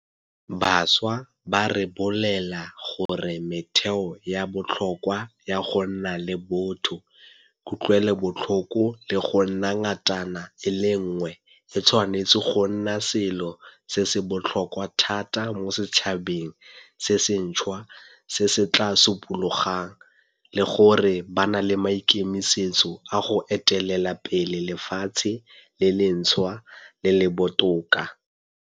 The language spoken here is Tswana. Bašwa ba re bolelela gore metheo ya botlhokwa ya go nna le botho, kutlwelobotlhoko le go nna ngatana e le nngwe e tshwanetse go nna selo se se botlhokwa thata mo setšhabeng se sentšhwa se se tla supologang, le gore ba na le maikemisetso a go etelela pele lefatshe le lentšhwa le le botoka.